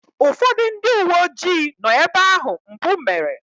Ụfọdụ ndị uwe ojii nọ ebe ahụ mpụ mere.